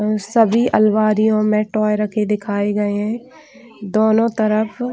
अ सभी आलमारियों में टॉय रखे दिखाए गए है दोनों तरफ--